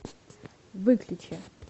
выключи